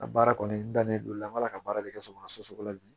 A baara kɔni dalen don a b'a la ka baara de kɛ so kɔnɔ soso la bi